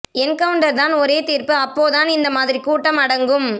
encounter தான் ஒரே தீர்ப்பு அப்பப்போ தான் இந்த மாதிரி கூட்டம் அடங்கும்